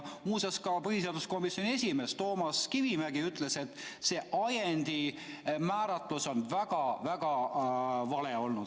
Muuseas, ka põhiseaduskomisjoni esimees Toomas Kivimägi ütles, et see ajendi määratlus oli väga vale.